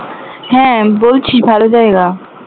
হ্যাঁ বলছিস ভালো জায়গা